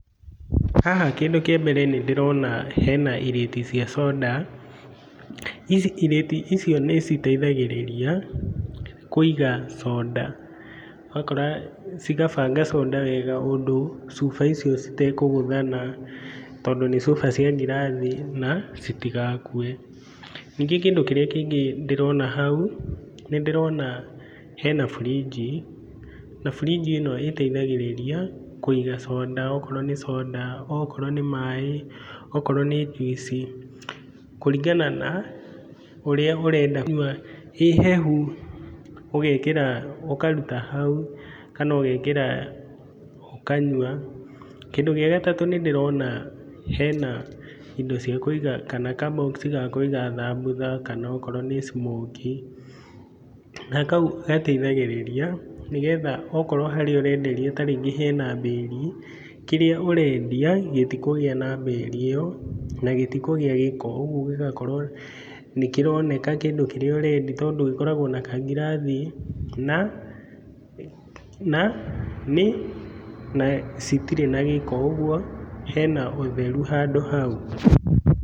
Haha kĩndũ kĩa mbere nĩndĩrona hena ireti cia conda, ici ireti, icio nĩ citeithagĩrĩria kũiga conda, ũgakora cigabanga conda wega ũndũ cuba icio citekũgũthana, tondũ nĩ cuba cia ngirathi na citigakue, ningĩ kĩndũ kĩrĩa kĩngĩ ndĩrona hau, nĩ ndĩrona hena burinji, na burinji ĩno ĩteithagĩrĩria kũiga conda, okorwo nĩ maĩ, okorwo nĩ njuici, kũringana na ũrĩa ũrenda kũnyua, ĩ hehu, ũgekĩra, ũkaruta hau kana ũgekĩra ũkanyua, kĩndũ gĩa gatatũ, nĩ ndĩrona hena ka box ga kũiga thambutha kana okorwo nĩ smokie, na kau gateithĩgĩrĩria nĩgetha okorwo harĩa ũrenderia ta rĩngĩ hena bĩri, kĩrĩa ũrendia gĩtikũgĩa na bĩri ĩyo, na gĩtikũgĩa gĩko, ũguo gĩgakorwo nĩ kĩroneka kĩndũ kĩrĩa ũrendia tondũ gĩkoragwo na kangirathi na na nĩ, na citirĩ na gĩko, ũguo hena ũtheru handũ hau.